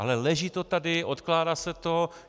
Ale leží to tady, odkládá se to.